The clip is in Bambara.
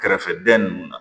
Kɛrɛfɛdɛn ninnu na